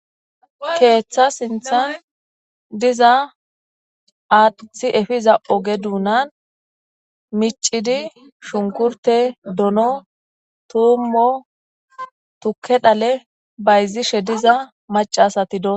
keeththa sinthan diza aathi efiza oge duunan micidi shunkurte dono tuummo tukke dhale bayzishe diza macasati doo